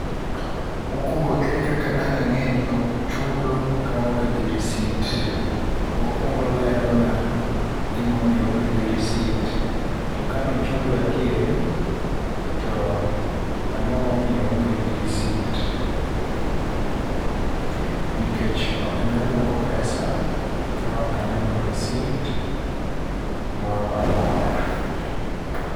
Mokwongo ere kaka dang' angé ni ochudo ka oonge gi risit. Okwongo olero na gima omiyo oonge gi risit, to kane ochudo adieri, to angó momiyo oonge gi risit. Nikech ok nyal duok pesa ka ok aneno risit moramora.